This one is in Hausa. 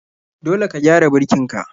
Dole ka gyara birkin ka.